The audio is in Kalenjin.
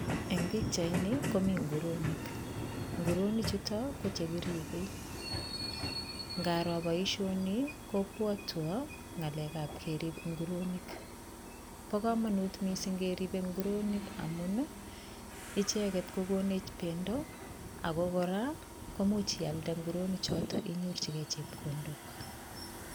Eng pikchaini komi nguronik, nguronik chuto ko chekiribe, ngaro boisioni kobwatwo ngalekab kerip nguronik, bo kamanut mising keribe nguronik amun ii, icheket kokonech bendo ako kora komuch ialde nguronichoto inyorchikei chepkondok.